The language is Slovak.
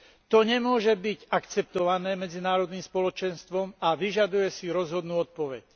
To nemôže byť akceptované medzinárodným spoločenstvom a vyžaduje si rozhodnú odpoveď.